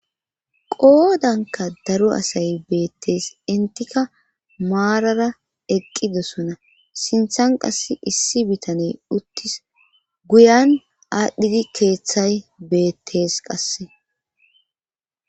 Qoodanka daru asay beettees intika maarara eqqidosona sinthan qassi issi bitaney uttis guyan aadhdhidi keeththay beettes qasse.